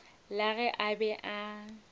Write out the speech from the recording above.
la ge a be a